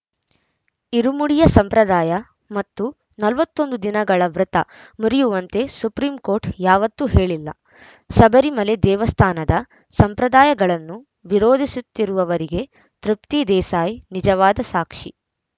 ಇರುಮುಡಿಯ ಸಂಪ್ರದಾಯ ಮತ್ತು ನಲವತ್ತ್ ಒಂದು ದಿನಗಳ ವ್ರತ ಮುರಿಯುವಂತೆ ಸುಪ್ರೀಂಕೋರ್ಟ್‌ ಯಾವತ್ತೂ ಹೇಳಿಲ್ಲ ಶಬರಿಮಲೆ ದೇವಸ್ಥಾನದ ಸಂಪ್ರದಾಯಗಳನ್ನು ವಿರೋಧಿಸುತ್ತಿರುವವರಿಗೆ ತೃಪ್ತಿ ದೇಸಾಯಿ ನಿಜವಾದ ಸಾಕ್ಷಿ